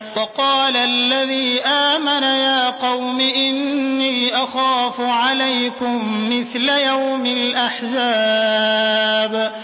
وَقَالَ الَّذِي آمَنَ يَا قَوْمِ إِنِّي أَخَافُ عَلَيْكُم مِّثْلَ يَوْمِ الْأَحْزَابِ